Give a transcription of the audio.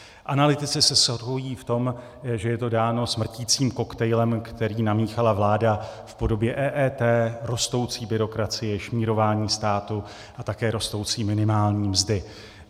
Analytici se shodují v tom, že je to dáno smrticím koktejlem, který namíchala vláda v podobě EET, rostoucí byrokracie, šmírování státu a také rostoucí minimální mzdy.